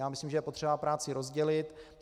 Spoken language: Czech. Já myslím, že je potřeba práci rozdělit.